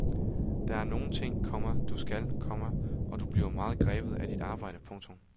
Der er nogle ting, komma du skal, komma og du bliver meget grebet af dit arbejde. punktum